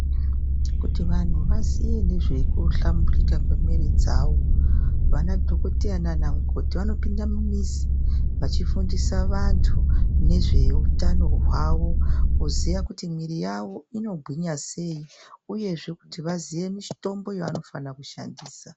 Kuti vantu vaziye nezvekuhlamburuka kwemwiiri dzavo, vanadhokodheya naanamukoti, vanopinde mumizi vachifundise vantu nezveutano hwavo, kuziye kuti miiri yavo inogwinya sei uyezve kuti vaziye mitombo yavanofanira kushandisa.